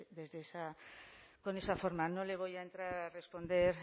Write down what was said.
con esa forma no le voy a entrar a responder